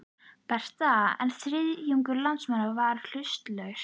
Breta, en þriðjungur landsmanna var hlutlaus.